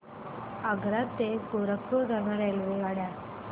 आग्रा ते गोरखपुर दरम्यान रेल्वेगाड्या